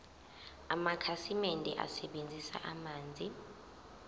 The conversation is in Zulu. amakhasimende asebenzisa amanzi